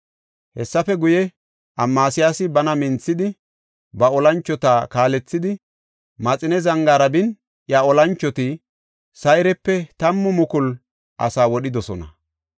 Hessafe guye, Amasiyaasi bana minthidi, ba olanchota kaalethidi, Maxine zangaara bin iya olanchoti Sayrepe tammu mukulu asaa wodhidosona.